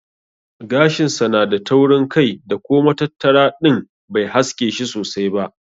Gashin sa yana da taurin kai da ko matattara din bai haske shi sosai ba.